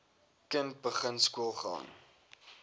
kind begin skoolgaan